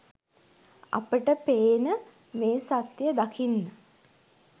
අපට පේන මේ සත්‍යය දකින්න